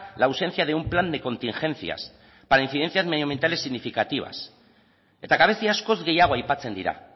la ausencia de un plan de contingencias para incidencias medioambientales significativas eta gabezi askoz gehiago aipatzen dira